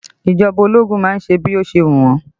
Ìjọba ológun má ń ṣe bí ó ṣe wù wọn